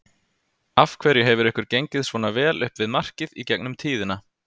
Af hverju hefur ykkur gengið svona vel upp við markið í gegnum tíðina?